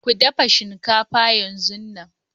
Ku dafa shinkafa yanzun nan!